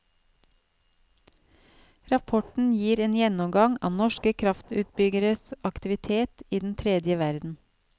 Rapporten gir en gjennomgang av norske kraftutbyggeres aktivitet i den tredje verden.